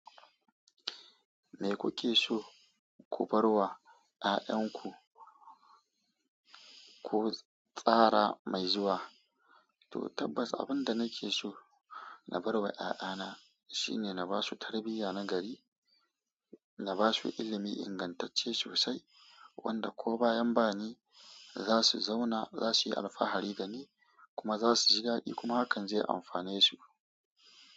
Me kuke so ku bar wa ƴaƴanku ko tsara mai zuwa? To tabbas abin da nake so na bar wa ƴaƴana shine na ba su tarbiyya na gari, na ba su ilimi ingantacce sosai wanda ko bayan bani za su zauna za su yi alfahari da ni kuma za su ji daɗi kuma hakan zai amfane su.